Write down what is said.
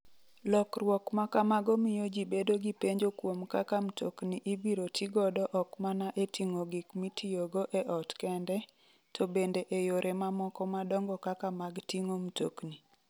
Lokruok ma kamago miyo ji bedo gi penjo kuom kaka mtokni ibiro ti godo ok mana e ting'o gik mitiyogo e ot kende, to bende e yore mamoko madongo kaka mag ting'o mtokni.